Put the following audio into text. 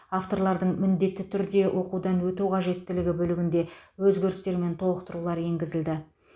авторлардың міндетті түрде оқудан өту қажеттілігі бөлігінде өзгерістер мен толықтырулар енгізілді